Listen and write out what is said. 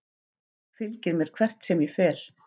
Fylgir mér hvert sem ég fer.